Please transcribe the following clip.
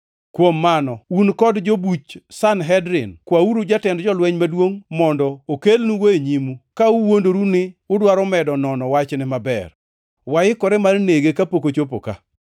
Kuom mano, un kod jobuch Sanhedrin kwauru jatend jolweny maduongʼ mondo okelnugo e nyimu, ka uwuondoru ni udwaro medo nono wachne maber. Waikore mar nege kapok ochopo ka.”